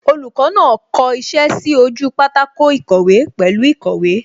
Olùkọ́ náà kọ iṣẹ́ sí ojú pátákó ìkọ̀wé pẹ̀lú īkòwé